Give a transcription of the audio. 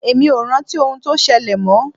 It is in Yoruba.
Èmi ò rántí ohun tó ṣẹlẹ̀ mọ́.